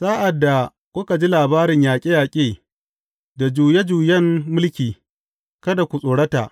Sa’ad da kuka ji labarin yaƙe yaƙe, da juye juyen mulki, kada ku tsorota.